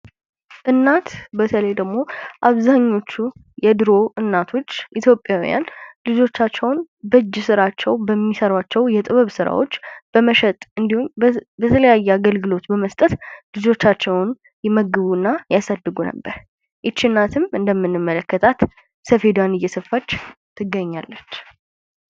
እናት በተለይ አብዛኞቹ የድሮዎቹ ኢትዮጵያውያን እናቶች ልጆቻቸውን በእጅ ስራዎቻቸው በሚሰሯቸው ስራዎች በመሸጥ እንዲሁም ደግሞ የተለያዩ አገልግሎት በመስጠት ልጆቻቸውን ይመግቡና ያሳድጉ ነበር። ይህች እናትም እንደምንመለከታት ሰፌዱዋን እየሰፋች ትገኛለች።